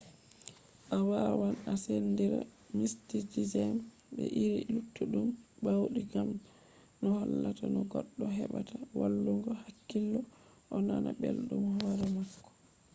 a wawan a sendira mistisizm be iri luttuɗum bauɗe gam no hollata no goɗɗo heɓata wallungo hakkilo o nana belɗum hore mako